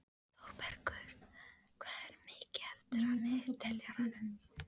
Þórbergur, hvað er mikið eftir af niðurteljaranum?